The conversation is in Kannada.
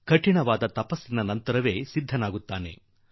ಒಂದು ದೊಡ್ಡ ತಪಸ್ಸಿನ ನಂತರ ಅವರು ಮಾಡುವರು